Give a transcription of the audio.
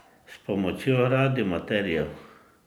S pomočjo radioamaterjev.